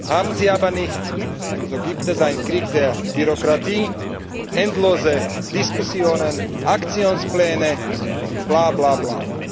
Haben sie aber nicht und so gibt es einen Krieg der Bürokratie, endlose Diskussionen, Aktionspläne und Blablabla.